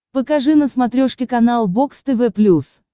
покажи на смотрешке канал бокс тв плюс